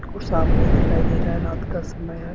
कुछ साफ दिखाई नहीं दे रहा है रात का समय है।